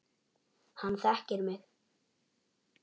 Hann þekkir mig.